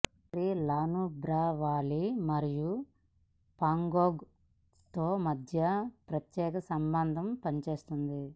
వారీ La Nubra valley మరియు పాంగోంగ్ త్సో మధ్య ప్రత్యక్ష సంబంధంగా పనిచేస్తుంది